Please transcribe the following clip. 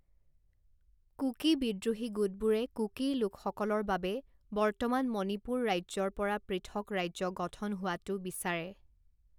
কুকি বিদ্ৰোহী গোটবোৰে কুকি লোকসকলৰ বাবে বৰ্তমান মণিপুৰ ৰাজ্যৰ পৰা পৃথক ৰাজ্য গঠন হোৱাটো বিচাৰে।